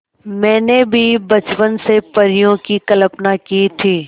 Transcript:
मैंने भी बचपन से परियों की कल्पना की थी